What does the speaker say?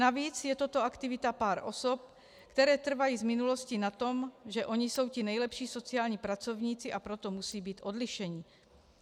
Navíc je toto aktivita pár osob, které trvaly v minulosti na tom, že oni jsou ti nejlepší sociální pracovníci, a proto musí být odlišeni.